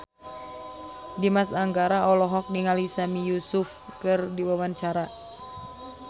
Dimas Anggara olohok ningali Sami Yusuf keur diwawancara